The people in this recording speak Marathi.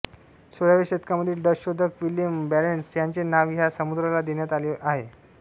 सोळाव्या शतकामधील डच शोधक विलेम बारेंट्स ह्याचे नाव ह्या समुद्राला देण्यात आले आहे